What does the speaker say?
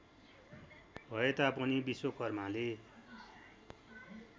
भएता पनि विश्वकर्माले